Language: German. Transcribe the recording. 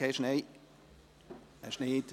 – Das ist nicht der Fall.